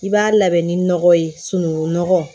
I b'a labɛn ni nɔgɔ ye sunukun nɔgɔ